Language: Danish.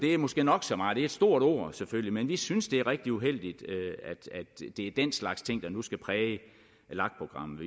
er måske nok så meget er et stort ord selvfølgelig men vi synes det er rigtig uheldigt at det er den slags ting der nu skal præge lag programmet